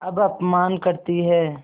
अब अपमान करतीं हैं